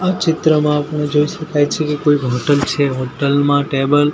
આ ચિત્રમાં આપણે જોય શકાય છે કે કોઈક હોટલ છે હોટલ માં ટેબલ --